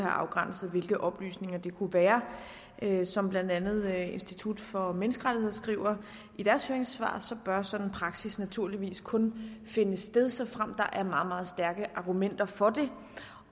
afgrænset hvilke oplysninger det kunne være som blandt andet institut for menneskerettigheder skriver i deres høringssvar bør sådan en praksis naturligvis kun finde sted såfremt der er meget meget stærke argumenter for det